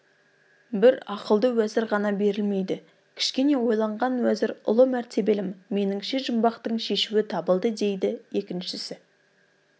бір ақылды уәзір ғана берілмейді кішкене ойлаған уәзір ұлы мәртебелім меніңше жұмбақтың шешуі табылды дейді екіншісі